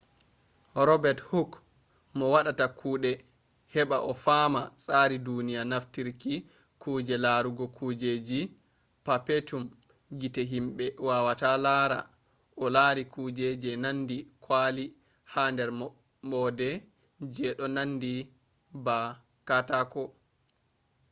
robet huk mo waɗata kuɗe heɓa o fama tsari duniya naftiri kuje larugo kujeji perpetum gite himɓe wawata lara o lari kuje je nandi kwali ha nder maɓɓode je ɗo nandi ba katako